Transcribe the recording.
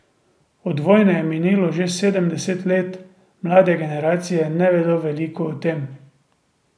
Od vojne je minilo že sedemdeset let, mlade generacije ne vedo več veliko o tem.